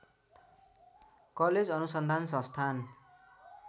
college अनुसन्धान संस्थान